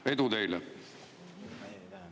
Edu teile!